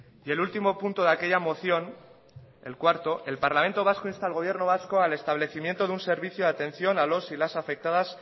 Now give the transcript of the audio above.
y el ultimo punto de aquella moción el cuarto el parlamento vasco insta al gobierno vasco al establecimiento de un servicio de atención a los y las afectadas